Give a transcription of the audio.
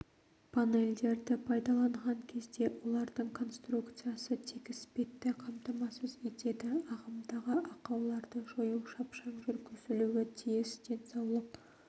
панельдерді пайдаланған кезде олардың конструкциясы тегіс бетті қамтамасыз етеді ағымдағы ақауларды жою шапшаң жүргізілуі тиіс денсаулық